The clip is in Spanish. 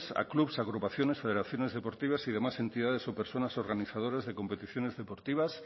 a clubs agrupaciones federaciones deportivas y demás entidades o personas organizadoras de competiciones deportivas